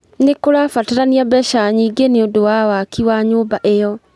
Nĩ kũrabatarania mbeca nyingĩ nĩũndũ wa waki wa nyũmba ĩyo.